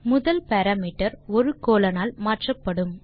முதல் பாராமீட்டர் ஒரு கோலோன் ஆல் மாற்றப்படும்